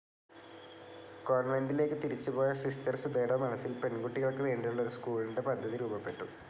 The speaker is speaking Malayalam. കോൺവെൻ്റിലേക്ക് തിരിച്ച് പോയ സിസ്റ്റർ സുധയുടെ മനസ്സിൽ പെൺകുട്ടികൾക്ക് വേണ്ടിയുളള ഒരു സ്ക്കൂളിൻ്റെ പദ്ധതി രൂപപ്പെട്ടു.